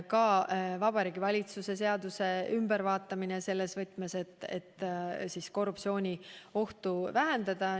Kavas on ka Vabariigi Valitsuse seaduse ülevaatamine selles võtmes, et korruptsiooniohtu vähendada.